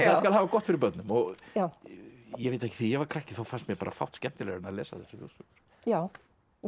það skal hafa gott fyrir börnum ég veit það ekki þegar ég var krakki fannst mér fátt skemmtilegra en að lesa þessar þjóðsögur já við